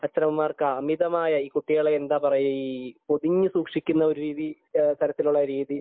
അച്ഛനമ്മമാർക്ക് അമിതമായ ഈ കുട്ടികളെ എന്താ പറയാ ഒതുങ്ങി സൂക്ഷിക്കുന്ന തരത്തിലുള്ള ഒരു രീതി